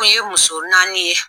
Kun ye muso naani ye.